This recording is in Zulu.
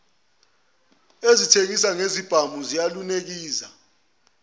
ezithengisa ngezibhamu ziyalunikeza